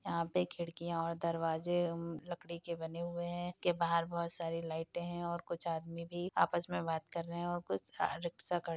यहाँ पे खिड़कियां और दरवाजे लकड़ी के बने हुये हैं। इसके बहार बहोत सारे लाइटे हैं और कुछ आदमी भी आपस मे बात कर रहें और कुछ रिक्शा खड़ी --